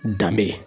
Danbe